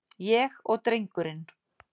Ég og drengurinn.